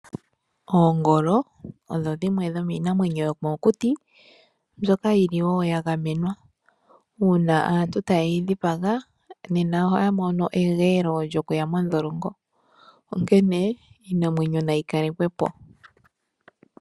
Oongolo odho dhimwe dhomiinamwenyo yomokuti mbyoka yili wo ya gamenwa. Uuna aantu taye yi dhipaga, nena ohaya mono egeelo lyoku ya modholongo. Onkene iinamwenyo na yi kalekwe po.